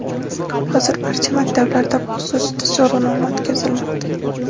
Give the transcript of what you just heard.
Hozir barcha maktablarda bu xususida so‘rovnoma o‘tkazilmoqda.